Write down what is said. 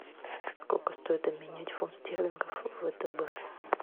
сколько стоит обменять фунт стерлингов в втб